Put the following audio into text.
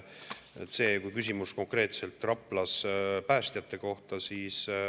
See küsimus konkreetselt Rapla päästjate kohta.